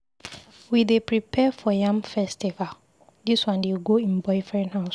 We dey prepare for yam festival, dis one dey go im boyfriend house.